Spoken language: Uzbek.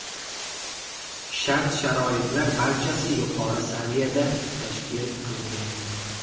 Shart-sharoitlar barchasi yuqori saviyada tashkil qilingan.